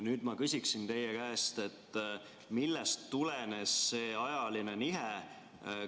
Nüüd ma küsin teie käest, millest tulenes see ajaline nihe.